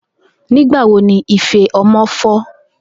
Nigbawo ni ife ọmọ fọ?